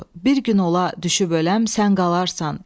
Bir gün ola düşüb öləm, sən qalarsan.